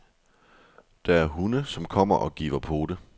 Der er hunde, som kommer og giver pote.